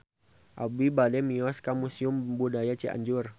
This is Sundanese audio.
Abi bade mios ka Museum Budaya Cianjur